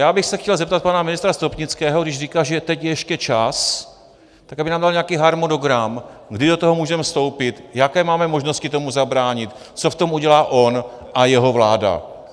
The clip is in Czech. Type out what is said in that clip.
Já bych se chtěl zeptat pana ministra Stropnického, když říká, že teď je ještě čas, tak aby nám dal nějaký harmonogram, kdy do toho můžeme vstoupit, jaké máme možnosti tomu zabránit, co v tom udělá on a jeho vláda.